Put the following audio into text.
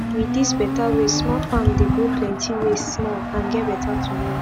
with these better ways small farm dey grow plenty waste small and get better tomorrow